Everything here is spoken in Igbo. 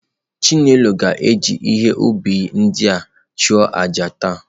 Chinelo ga-eji ihe ubi ndị ahụ achụ àjà taa.